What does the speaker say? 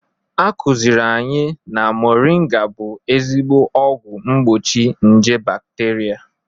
A kụzịrị anyị na mọrịnga bụ ezigbo ọgwọ mgbochi nje bakterịa.